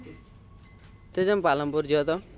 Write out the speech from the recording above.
તે જેમ પાલનપુર ગયો તો